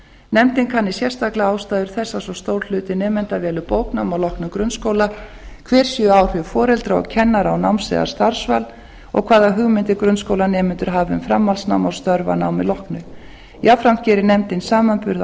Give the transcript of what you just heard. nefndin kanni sérstaklega ástæður þess að svo stór hluti nemenda velur bóknám að loknum grunnskóla hver séu áhrif foreldra og kennara á náms eða starfsval og hvaða hugmyndir grunnskólanemendur hafi um framhaldsnám og störf að námi loknu jafnframt gerir nefndin samanburð